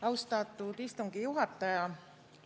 Austatud istungi juhataja!